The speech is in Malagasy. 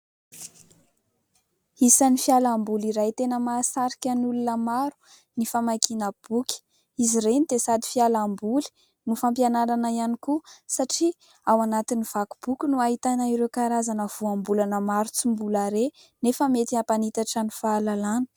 Isan'ny fialamboly iray tena mahasarika ny olona maro ny famakiana boky. Izy ireny dia sady fialamboly no fampianarana ihany koa, satria ao anatin'ny vaky boky no ahitaina ireo karazana voambolana maro tsy mbola re nefa mety hampanitatra ny fahalalana.